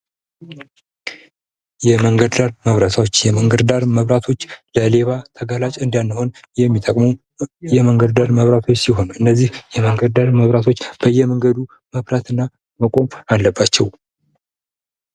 የመንገድ ዳር መብራቶች:- የመንገድ ዳር መብራቶች ለሌባ ተጋላጭ እንዳንሆን የሚጠቅሙ የመንገድ ዳር መብራቶች ሲሆኑ እነዚህ የመንነድ ዳር መብራቶች በየመንገዱ መብራት እና መቆም አለባቸዉ።